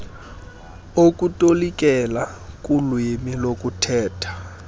okutolikela kulwimi lokuthetha